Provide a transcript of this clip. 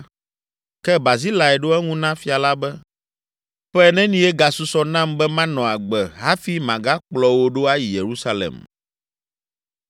Ke Barzilai ɖo eŋu na fia la be, “Ƒe nenie gasusɔ nam be manɔ agbe hafi magakplɔ wò ɖo ayi Yerusalem?